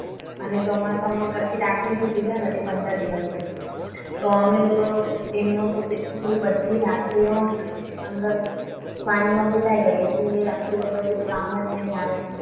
અને ચોમાસામાં પછી રાખડી ની સિઝન હતી. પંદર દિવસ પછી તમે લોકો તો એમનો તો કેટલું બધી રાખડીઓ અંદર પાણીમાં પાણીમાં પલળી ગઈ. એટલે રાખડીઓ તો પછી કામ જ નહીં આવે.